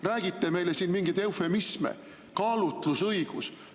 Räägite meile siin mingeid eufemisme – kaalutlusõigus.